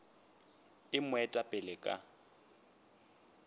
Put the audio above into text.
e mo eta pele ka